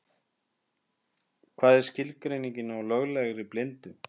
Hvað er skilgreiningin á löglegri blindu?